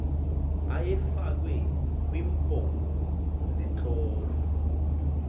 ayefakwe kwiimpondo zeentlobo